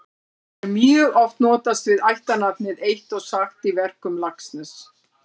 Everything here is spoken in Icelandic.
Þá er mjög oft notast við ættarnafnið eitt og sagt í verkum Laxness.